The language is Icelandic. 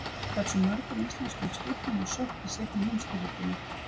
Hversu mörgum íslenskum skipum var sökkt í seinni heimsstyrjöldinni?